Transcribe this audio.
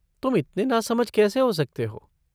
तुम इतने नासमझ कैसे हो सकते हो?